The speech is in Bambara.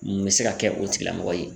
Mun bɛ se ka kɛ o tigilamɔgɔ ye?